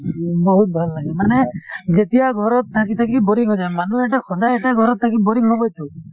বহুত ভাল লাগে মানে যেতিয়া ঘৰত থাকি থাকি boring হৈ যায়। মানুহ এটা সদায় এটা ঘৰত থাকি boring হবই টো ।